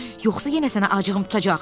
Yoxsa yenə sənə acığım tutacaq.